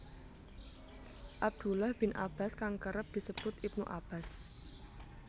Abdullah bin Abbas kang kerep disebut Ibnu Abbas